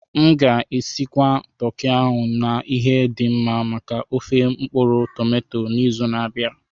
M ga-esigwa toki ahụ na ihe dị mma maka ofé mkpuru-tomato n'izu na-abịa.